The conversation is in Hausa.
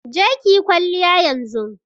Je ki yi kwalliya yanzun!